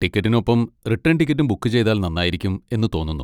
ടിക്കറ്റിനൊപ്പം return ടിക്കറ്റും book ചെയ്താൽ നന്നായിരിക്കും എന്ന് തോന്നുന്നു.